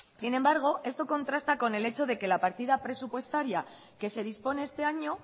sin embargo esto contrasta con el hecho de que la partida presupuestaria que se dispone este año